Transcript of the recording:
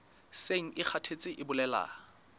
seng e kgathetse e bolela